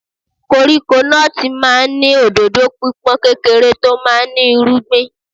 Koríko nọ́ọ̀tì máa ń ní òdòdó pípọ́n, kékeré tó máa ń ní irúgbìn.